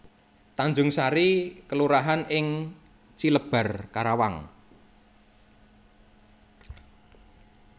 Tanjungsari kelurahan ing Cilebar Karawang